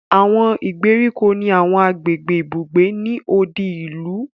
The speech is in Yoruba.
Àwọn ìgbèríko ni àwọn agbègbè ibùgbé ni odi ìlú